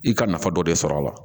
I ka nafa dɔ de sɔr'a la